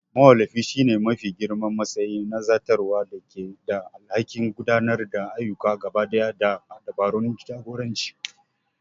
Mawallafi shine mafi girman matsayi na zartarwa da ke da alhakin gudanar da ayyuka gabaɗaya da dabarun jagoranci.